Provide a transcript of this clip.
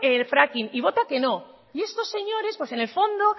fracking y vota que no y estos señores pues en el fondo